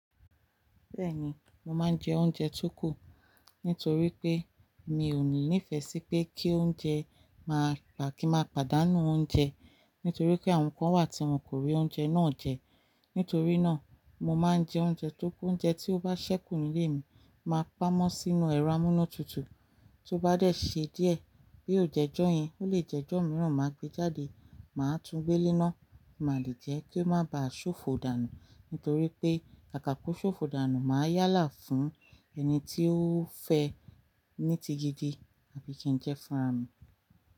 Bẹ́ẹ̀ni, mo máa ń jẹ oúnjẹ tó kù nítorí pé mi ò ní ìfẹ́ sí pé kí oúnjẹ máa pà kí n má pàdánù oúnjẹ nítorí pé àwọn kan wà tí wọn kò rí oúnjẹ náà jẹ. Nítorí náà, mo máa n je oúnjẹ to ku oúnjẹ tí ó bá ṣẹ́kù nílé mi máa pamọ́ sínú ẹrọ amúnútutù, tó bá dé ṣe díẹ̀, bí ó jẹ́ ojọ́ yẹn, ó lè jẹ́ ojọ́ mìíràn máa gbé jáde, màá túń gbé léná, màá le jẹ kí ó má ba à ṣòfò dànù. Nítorí pe, kaka ko ṣòfò dànù ma yálà fún ẹni ti o fe ni ti gidi, àbí kin je fún rara mi.